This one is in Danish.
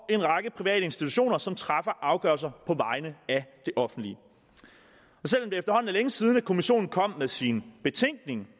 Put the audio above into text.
en række private institutioner som træffer afgørelser på vegne af det offentlige selv om er længe siden at kommissionen kom med sin betænkning